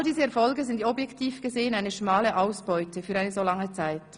All diese ‹Erfolge› sind objektiv gesehen eine schmale Ausbeute für eine so lange Zeit.